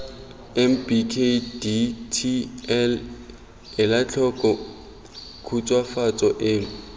mbkdtl ela tlhoko khutswafatso eno